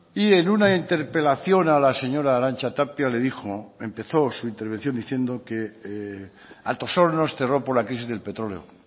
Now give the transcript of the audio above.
y en una interpelación a la señora arantxa tapia le dijo empezó su intervención diciendo que altos hornos cerró por la crisis del petróleo